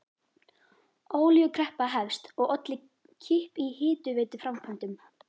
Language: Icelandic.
Olíukreppa hefst og olli kipp í hitaveituframkvæmdum.